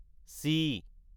C